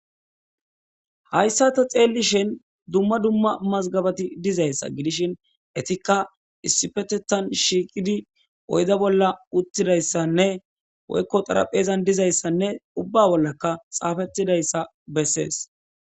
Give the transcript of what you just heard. hayssa ta xeellishen dumma dumma mazgabati dizayssa gidishin etikka issipetettan shiiqidi oyda bolla uttidayssanne woykko xaraphezan dizayssanne ubba bollaka xaafettidayssa bessees